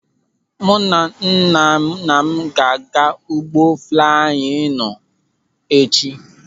Mụ na nnanna m ga-anya ụgbọ flaiyin tọnụ echi.